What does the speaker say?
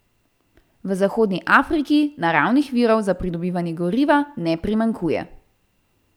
V Zahodni Afriki naravnih virov za pridobivanje goriva ne primanjkuje.